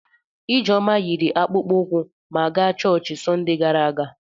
Ijeoma yiri akpụkpọ ụkwụ m gaa chọọchị Sọnde gara aga.